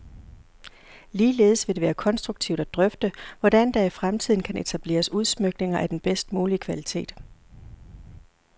Ligeledes vil det være konstruktivt at drøfte, hvordan der i fremtiden kan etableres udsmykninger af den bedst mulige kvalitet.